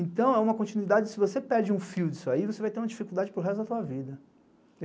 Então é uma continuidade, se você perde um fio disso aí, você vai ter uma dificuldade para o resto da tua vida.